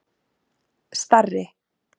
Starri